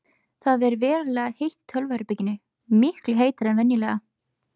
Það ver verulega heitt í tölvuherberginu, miklu heitara en venjulega.